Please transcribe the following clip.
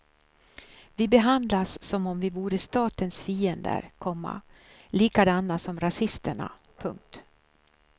Vi behandlas som om vi vore statens fiender, komma likadana som rasisterna. punkt